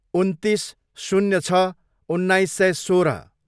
उन्तिस, शून्य छ, उन्नाइस सय सोह्र